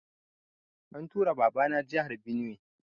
An tura Baba na jahar Benue